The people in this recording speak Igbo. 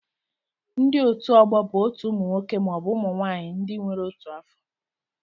Ndị otu ọgbọ bụ otu ụmụ nwoke maọbụ ụmụ nwaanyị ndị nwere otu afọ